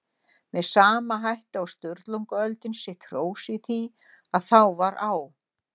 Með sama hætti á Sturlungaöldin sitt hrós í því að þá var á